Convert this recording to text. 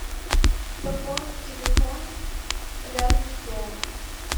пополнить телефон рядом с домом